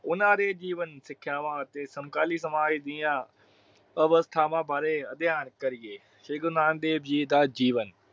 ਉਹਨਾਂ ਦੇ ਜੀਵਨ ਸਿੱਖਿਆਵਾਂ ਅਤੇ ਸਮਕਾਲੀ ਸਮਾਜ ਦੀਆ ਅਵਸਥਾਵਾਂ ਬਾਰੇ ਅਭਿਆਨ ਕਰੀਏ। ਸ਼੍ਰੀ ਗੁਰੂ ਨਾਨਕ ਦੇਵ ਜੀ ਦਾ ਜੀਵਨ